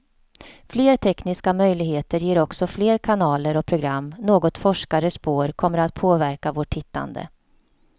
Fler tekniska möjligheter ger också fler kanaler och program, något forskare spår kommer att påverka vårt tittande.